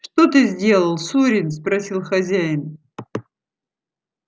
что ты сделал сурин спросил хозяин